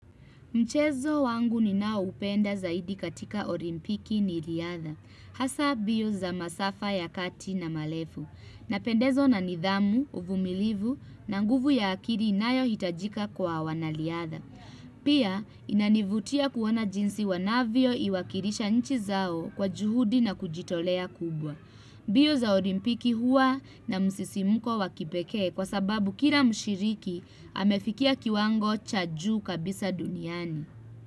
Mchezo wangu ninao upenda zaidi katika orimpiki ni riatha. Hasa biyo za masafa ya kati na malefu. Napendezwa na nidhamu, uvumilivu, na nguvu ya akiri inayo hitajika kwa wana liyatha. Pia inanivutia kuona jinsi wanavyo iwakilisha nchi zao kwa juhudi na kujitolea kubwa. Biyo za olimpiki huwa na msisimuko wa kipeke kwa sababu kila mshiriki amefikia kiwango cha juu kabisa duniani.